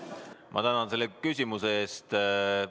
Ma tänan selle küsimuse eest!